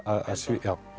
að